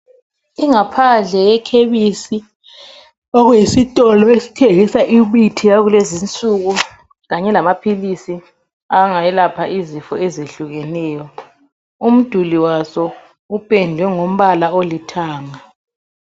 Ingaphandle yekhemisi okuyisitolo esithengisa imithi yakulezinsuku kanye lamaphilisi angelapha izifo ezehlukeneyo. Umduli waso upendwe ngombala olithanga.